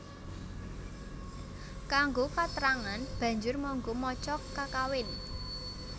Kanggo katrangan banjur mangga maca kakawin